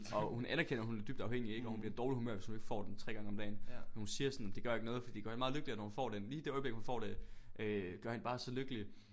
Og hun anerkender hun er dybt afhængig ik og hun bliver i dårligt humør hvis hun ikke får den 3 gange om dagen men hun siger sådan det gør ikke noget fordi det gør hun meget lykkeligere når hun får det lige det øjeblik hun får det øh gør hende bare så lykkelig